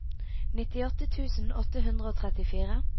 nittiåtte tusen åtte hundre og trettifire